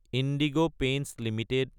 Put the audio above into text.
indigo paints Ltd